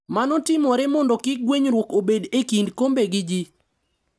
Mano timore mondo kik gwenyruok obed e kind kombe gi ji.